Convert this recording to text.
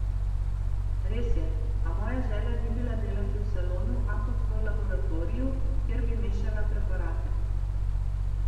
Res je, a moja želja ni bila delati v salonu, ampak v laboratoriju, kjer bi mešala preparate.